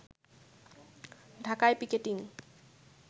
ঢাকায় পিকেটিং